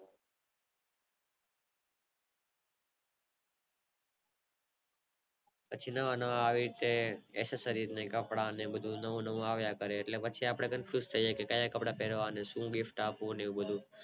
પછી નવા નવા આવી રીતે Accessories ને કપડાં ને બધું નવું નવું આવ્યા કરે એટલે પછી આપણે Confuse થાય જવી ક્યાં કપડાં પેરવા અને શું gift આપવું એ બધું